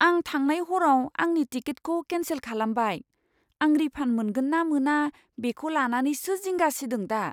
आं थांनाय हरआव आंनि टिकेटखौ केन्सेल खालामबाय। आं रिफान्ड मोनगोन ना मोना बेखौ लानानैसो जिंगा सिदों दा!